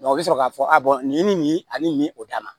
u bɛ sɔrɔ k'a fɔ nin ye nin ani nin o dan na